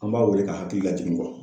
An m'a wele ka hakili lajigin kɔ.